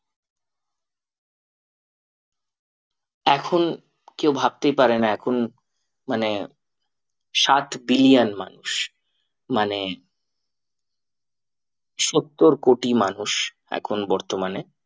এখন কেউ ভাবতেই পারে না এখন মানে সাত billion মানুষ মানে সত্তর কোটি মানুষ এখন বর্তমানে